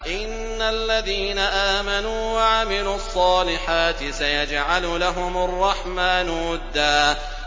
إِنَّ الَّذِينَ آمَنُوا وَعَمِلُوا الصَّالِحَاتِ سَيَجْعَلُ لَهُمُ الرَّحْمَٰنُ وُدًّا